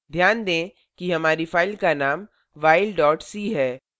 ध्यान दें कि हमारी फ़ाइल का name while c है